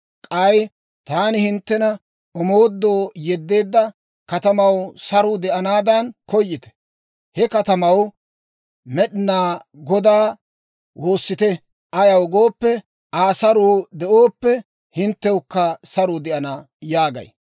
K'ay taani hinttena omoodoo yeddeedda katamaw saruu de'anaadan koyite. He katamaw Med'inaa Godaa woossite. Ayaw gooppe, ‹Aw saruu de'ooppe, hinttewukka saruu de'ana› yaagay.